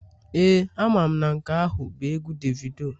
Ee, amam na nke ahu bu egwu Davido